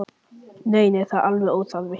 Nei, nei, það er alveg óþarfi.